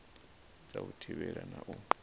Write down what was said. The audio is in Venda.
dza u thivhela na u